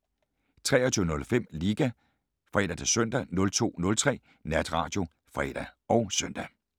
23:05: Liga (fre-søn) 02:03: Natradio (fre og søn)